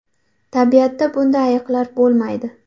Tabiatda bunday ayiqlar bo‘lmaydi.